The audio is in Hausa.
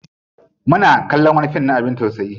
Muna kallon wani fim na abin tausayi.